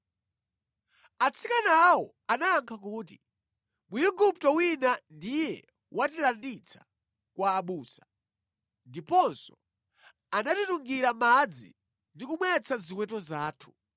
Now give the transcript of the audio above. Atsikanawo anayankha kuti, “Mwigupto wina ndiye watilanditsa kwa abusa. Ndiponso anatitungira madzi ndi kumwetsa ziweto zathu.”